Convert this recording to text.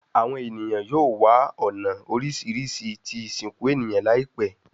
Awọn eniyan yoo wa awọn ọna oriṣiriṣi ti isinku eniyan laipẹ